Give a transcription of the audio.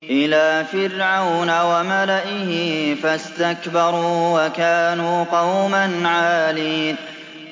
إِلَىٰ فِرْعَوْنَ وَمَلَئِهِ فَاسْتَكْبَرُوا وَكَانُوا قَوْمًا عَالِينَ